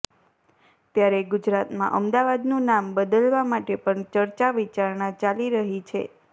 ત્યારે ગુજરાતમાં અમદાવાદનું નામ બદલવા માટે પણ ચર્ચા વિચારણા ચાલી રહી છે